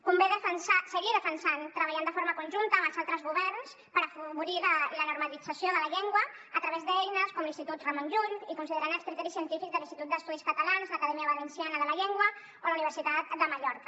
convé seguir defensant treballar de forma conjunta amb els altres governs per afavorir la normalització de la llengua a través d’eines com l’institut ramon llull i considerant els criteris científics de l’institut d’estudis catalans l’acadèmia valenciana de la llengua o la universitat de mallorca